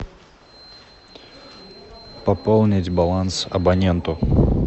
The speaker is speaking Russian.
пополнить баланс абоненту